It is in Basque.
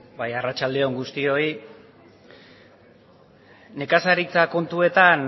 bai arratsalde on guztioi nekazaritza kontuetan